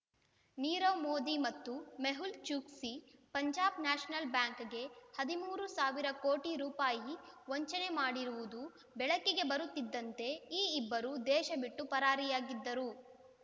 ನೀರವ್ ಮೋದಿ ಮತ್ತು ಮೆಹುಲ್ ಚೂಕ್ಸಿ ಪಂಜಾಬ್ ನ್ಯಾಷನಲ್ ಬ್ಯಾಂಕ್‌ಗೆ ಹದಿಮೂರು ಸಾವಿರ ಕೋಟಿ ರೂ ವಂಚನೆ ಮಾಡಿರುವುದು ಬೆಳಕಿಗೆ ಬರುತ್ತಿದ್ದಂತೆ ಈ ಇಬ್ಬರು ದೇಶಬಿಟ್ಟು ಪರಾರಿಯಾಗಿದ್ದರು